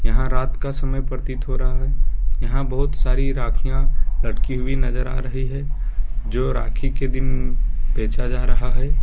यहां रात का समय प्रतीत हो रहा है यहां बहुत सारी राखियां लड़की हुई नजर आ रही है जो राखी के दिन बचा जा रहा है।